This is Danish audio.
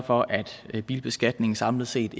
for at bilbeskatningen samlet set